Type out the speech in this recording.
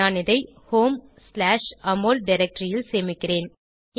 நான் இதை homeஅமோல் டைரக்டரி ல் சேமிக்கிறேன்